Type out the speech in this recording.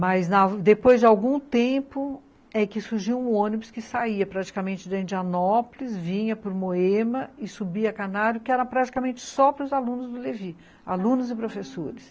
Mas, depois de algum tempo, é que surgiu um ônibus que saía praticamente do Indianópolis, vinha para o Moema e subia a Canário, que era praticamente só para os alunos do Levi, alunos e professores.